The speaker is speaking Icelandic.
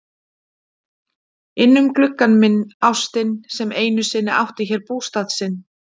Innum gluggann minn- ástin sem einu sinni átti hér bústað sinn.